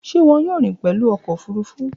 Ṣe wọn yoo rin pẹlu ọkọ ofurufu?